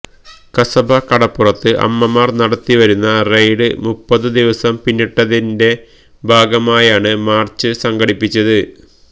കസബ കടപ്പുറത്ത് അമ്മമാര് നടത്തിവരുന്ന റെയ്ഡ് മുപ്പതു ദിവസം പിന്നിട്ടതിണ്റ്റെ ഭാഗമായാണ് മാര്ച്ച് സംഘടിപ്പിച്ചത്